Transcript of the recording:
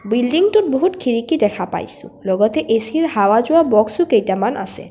বিল্ডিঙটোত বহুত খিৰিকী দেখা পাইছোঁ লগতে এ_চি ৰ যোৱা বক্সো কেইটামান আছে।